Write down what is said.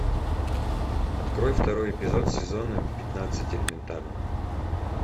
открой второй эпизод сезона пятнадцать элементарно